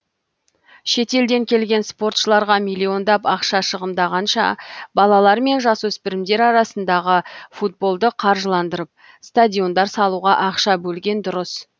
шетелден келген спортшыларға миллиондап ақша шығындағанша балалар мен жасөспірімдер арасындағы футболды қаржыландырып стадиондар салуға ақша бөлген дұрыс